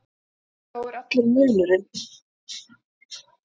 Sá er allur munurinn.